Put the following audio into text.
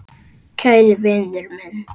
Kæri vinur minn.